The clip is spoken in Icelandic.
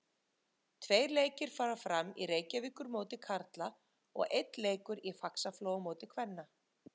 Tveir leikir fara fram í Reykjavíkurmóti karla og einn leikur í Faxaflóamóti kvenna.